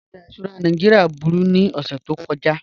Ọjà ìṣura Nàìjíríà búru ni ọṣẹ̀ tó kọja